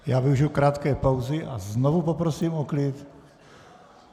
Já využiji krátké pauzy a znovu poprosím o klid.